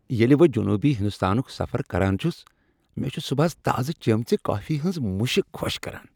ییٚلہ بہٕ جنوبی ہنٛدستانک سفر کران چُھس، مےٚ چھ صبحس تازٕ چٔمۍژِ کافی ہنٛد مُشک خۄش كران ۔